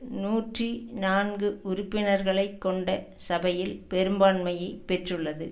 நூற்றி நான்கு உறுப்பினர்களை கொண்ட சபையில் பெரும்பான்மையை பெற்றுள்ளது